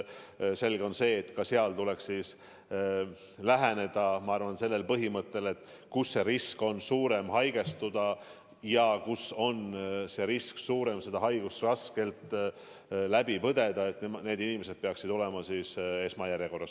Selge, et ka seal tuleks lähtuda põhimõttest, et kellel on suurem risk haigestuda ja kellel on suurem risk seda haigust raskelt läbi põdeda, need inimesed peaksid olema esmajärjekorras.